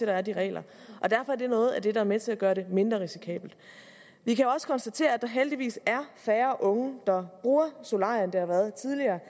der er de regler derfor er det noget af det der er med til at gøre det mindre risikabelt vi kan også konstatere at der heldigvis er færre unge der bruger solarie end der har været tidligere